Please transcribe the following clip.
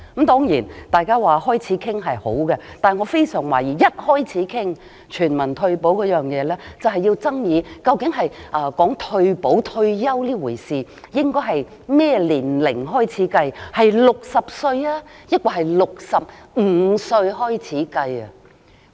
當然，大家開始討論也是一件好事，但我很懷疑一開始討論全民退保，我們就會爭議究竟退休年齡應該定在多少歲，應該是由60歲抑或65歲起計算？